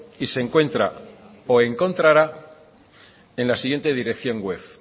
y se encuentra o encontrará en la siguiente dirección web